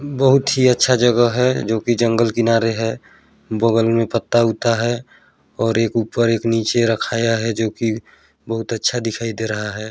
बहुत ही अच्छा जगह है जो कि जंगल किनारे हे बगल में पत्ता उत्ता है और एक ऊपर एक नीचे रखाया है जो कि बहुत अच्छा दिखाई दे रहा है।